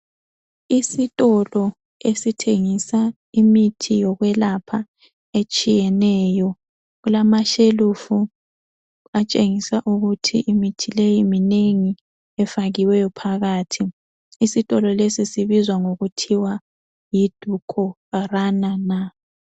Isitolo esithengisa imithi yokwelapha etshiyeneyo kulamashelufu atshengisa ukuthi imithi leyi minengi efakiweyo phakathi isitolo lesi sibizwa ngokuthiwa yiDukoranana.